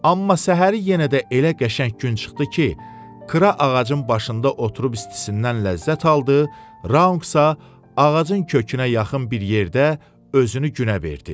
Amma səhəri yenə də elə qəşəng gün çıxdı ki, Kra ağacın başında oturub istisindən ləzzət aldı, Raunqsa ağacın kökünə yaxın bir yerdə özünü günə verdi.